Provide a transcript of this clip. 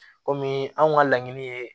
Komi anw ka laɲini ye